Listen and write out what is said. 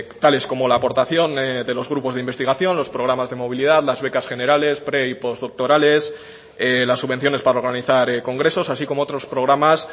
tales como la aportación de los grupos de investigación los programas de movilidad las becas generales pre y postdoctorales las subvenciones para organizar congresos así como otros programas